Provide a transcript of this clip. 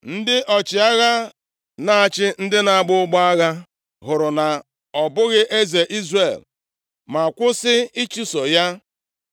ndị ọchịagha, na-achị ndị na-agba ụgbọ agha hụrụ na ọ bụghị eze Izrel, ma kwụsị ịchụso ya.